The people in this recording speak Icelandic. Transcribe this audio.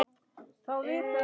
Við skálum fyrir